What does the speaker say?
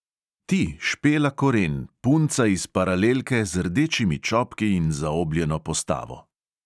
Ti, špela koren, punca iz paralelke z rdečimi čopki in zaobljeno postavo.